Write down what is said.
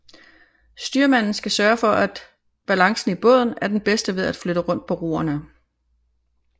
Styrmanden skal sørge for at balancen i båden er den bedste ved at flytte rundt på roerne